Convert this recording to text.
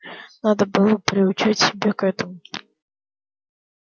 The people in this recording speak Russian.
надо было приучать себя к этому